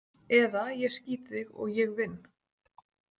Eða ég skýt þig og ég vinn.